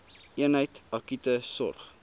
eenheid akute sorg